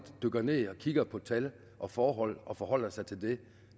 dykker ned og kigger på tal og forhold og forholder sig til det